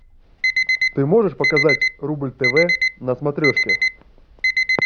ты можешь показать рубль тв на смотрешке